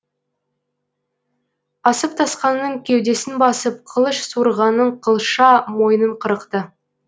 асып тасқанның кеудесін басып қылыш суырғанның қылша мойнын қырықты